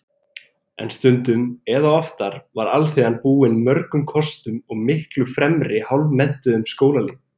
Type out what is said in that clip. En stundum eða oftar var alþýðan búin mörgum kostum og miklu fremri hálfmenntuðum skólalýð.